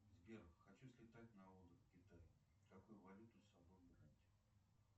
сбер хочу слетать на отдых в китай какую валюту с собой брать